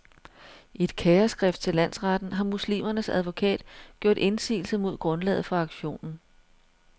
I et kæreskrift til landsretten har muslimernes advokat gjort indsigelse mod grundlaget for aktionen.